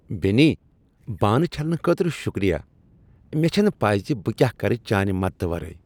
بیٚنی، بانہٕ چھلنہٕ خٲطرٕ شکریہ۔ مےٚ چھنہٕ پیی ز بہٕ کیٛاہ کرٕ چانہ مدتہٕ ورٲے۔